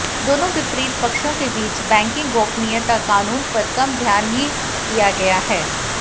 दोनों विपरीत पक्षों के बीच बैंकिंग गोपनीयता कानून पर कम ध्यान ही दिया गया है